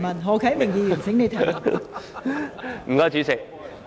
何啟明議員，請提出主體質詢。